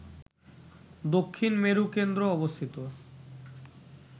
দক্ষিণ মেরু কেন্দ্র অবস্থিত